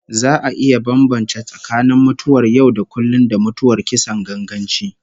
Za a iya bambance tsakanin mutuwar yau-da-kullum, da mutuwar kisan ganganci